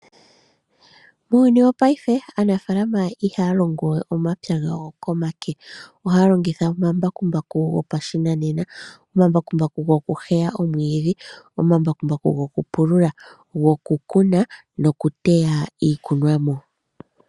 Muuyuni wongashingeyi aanafaalama ihaa longowe omapya gawo komake, ohaya longitha omambakumbaku gopashinanena . Omambakumbaku ogeli pomaludhi ngaashi ogokuheya omwiidhi , ogokupulula, gokukuna nogokuteya iikunomwa.